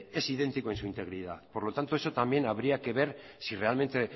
es idéntico en su integridad por lo tanto eso también habría que ver si realmente